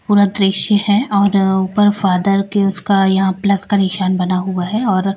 पूरा दृश्य है और ऊपर फादर के उसका यहां प्लस का निशान बना हुआ है और--